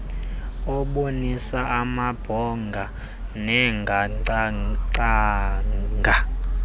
abonisa amabhongo nangacacanga